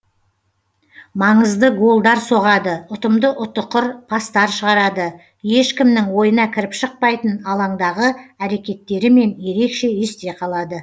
маңызды голдар соғады ұтымды ұтықыр пастар шығарады ешкімнің ойына кіріп шықпайтын алаңдағы әрекеттерімен ерекше есте қалады